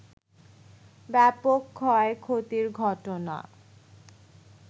ব্যাপক ক্ষয়ক্ষতির ঘটনা